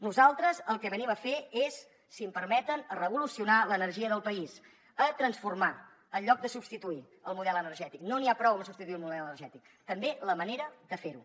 nosaltres el que venim a fer és si m’ho permeten a revolucionar l’energia del país a transformar en lloc de substituir el model energètic no n’hi ha prou amb substituir el model energètic també la manera de fer ho